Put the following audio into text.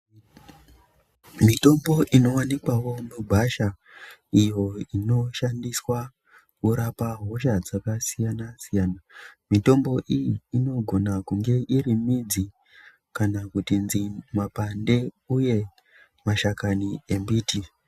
Mitombo inowanikwawo mugwasha iyo inoshandiswa kurapa hosha dzakasiyana-siyana mitombo iyi inogona kunge iri midzi kana kuti mapande uye mashakani embiti.